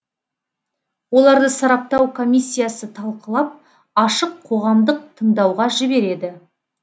оларды сараптау комиссиясы талқылап ашық қоғамдық тыңдауға жібереді